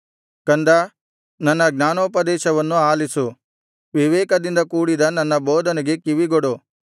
ಕಂದಾ ನನ್ನ ಜ್ಞಾನೋಪದೇಶವನ್ನು ಆಲಿಸು ವಿವೇಕದಿಂದ ಕೂಡಿದ ನನ್ನ ಬೋಧನೆಗೆ ಕಿವಿಗೊಡು